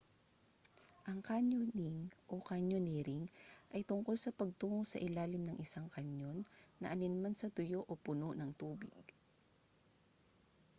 ang canyoning o: canyoneering ay tungkol sa pagtungo sa ilalim ng isang canyon na alinman sa tuyo o puno ng tubig